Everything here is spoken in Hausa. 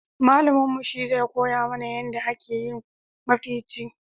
Malamin mu shi zai koya mana yanda a ke yin mafici